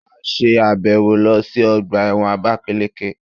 A ṣe àbẹ̀wò lọ sí ọgbà ẹ̀wọ̀n àbákáleke